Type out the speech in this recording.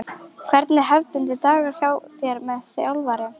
Hvernig er hefðbundinn dagur hjá þér sem þjálfari?